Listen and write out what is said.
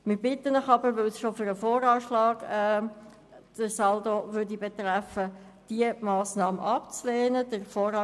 Wir bitten Sie aber, die Massnahme abzulehnen, weil sie bereits den Saldo des VA betreffen würde.